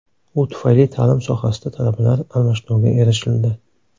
U tufayli ta’lim sohasida talabalar almashinuviga erishildi.